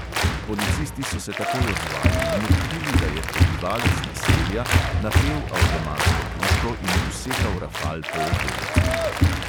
Policisti so se takoj odzvali in odkrili, da je prebivalec naselja napel avtomatsko puško in usekal rafal po okolici.